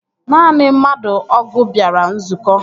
Naanị mmadụ ọgụ bịara nzukọ